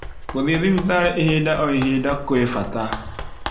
Gũthii thibitarĩ ihinda o ihinda kwĩ bata